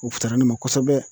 O futara ne ma kosobɛ.